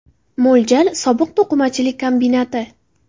Mo‘ljal: Sobiq to‘qimachilik kombinati.